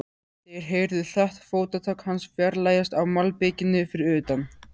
Þeir heyrðu hratt fótatak hans fjarlægjast á malbikinu fyrir utan.